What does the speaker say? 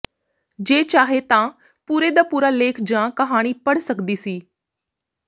ਜੇ ਚਾਹੇ ਤਾਂ ਪੂਰੇ ਦਾ ਪੂਰਾ ਲੇਖ ਜਾਂ ਕਹਾਣੀ ਪੜ੍ਹ ਸਕਦੀ ਸੀ